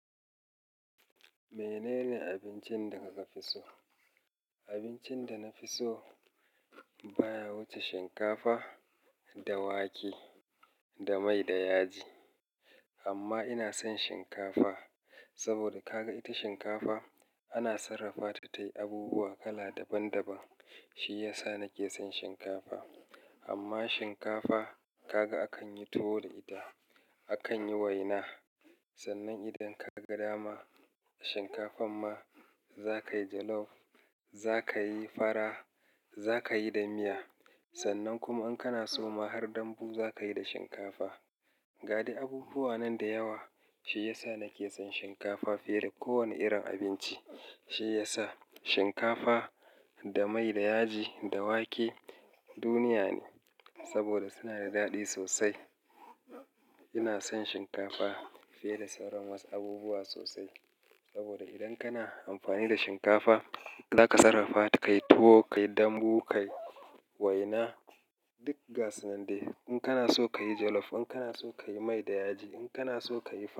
Menene abincin da ka fi so? Abincin da na fi so baya wuce shinkafa da wake da mai da yaji. Amma ina son shinkafa saboda kaga ita shinkafa ana sarrafa ta tayi abubuwa kala daban daban. Shi ya sa nake son shinkafa. Amma shinkafa kaga akan yi tuwo da ita, akan yi waina. Sannan idan kaga dama shinkafan ma zaka yi jollof, za ka yi fara, za ka yi da miya. Sannan kuma in kana so ma har dambu za ka yi da shinkafa. Ga dai abubuwa nan da yawa, shi ya sa nake son shinkafa fiye da kowane irin abinci. Shi ya sa shinkafa da mai da yaji da wake duniya ne saboda suna da daɗi sosai. Ina son shinkafa fiye da sauran wasu abubuwa sosai saboda idan kana amfani da shinkafa za ka sarrafa ta, ka yi tuwo, ka yi dambu, ka yi waina. Duk gasunan dai in kana so ka yi jollof, in kana so ka yi mai da yaji, in kana so ka yi fara.